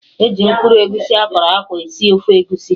E ji mkpụrụ egusi akọrọ akwọ esi ofe egusi